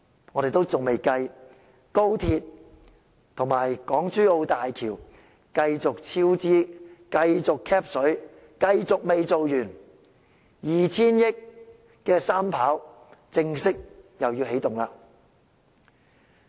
我們仍未計算高鐵及港珠澳大橋工程繼續超支，繼續 "cap 水"，繼續未完工，而 2,000 億元的"三跑"工程又要正式起動了。